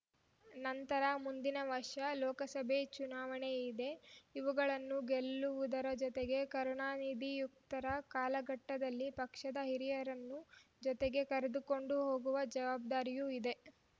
ನಂತರ ಮುಂದಿನ ವರ್ಷ ಲೋಕಸಭೆ ಚುನಾವಣೆಯಿದೆ ಇವುಗಳನ್ನು ಗೆಲ್ಲುವುದರ ಜೊತೆಗೆ ಕರುಣಾನಿಧಿಯುಕ್ತರ ಕಾಲಘಟ್ಟದಲ್ಲಿ ಪಕ್ಷದ ಹಿರಿಯರನ್ನು ಜೊತೆಗೆ ಕರೆದುಕೊಂಡು ಹೋಗುವ ಜವಾಬ್ದಾರಿಯೂ ಇದೆ